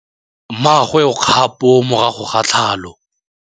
Mmagwe o kgapô morago ga tlhalô.